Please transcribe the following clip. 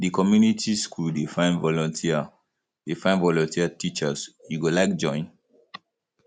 di community skool dey find volunteer dey find volunteer teachers you go like join